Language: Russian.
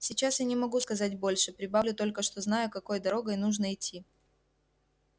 сейчас я не могу сказать больше прибавлю только что знаю какой дорогой нужно идти